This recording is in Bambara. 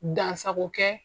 Dansako kɛ